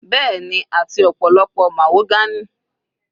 Bẹ́ẹ̀ni, àti ọ̀pọ̀lọpọ̀ mahogany.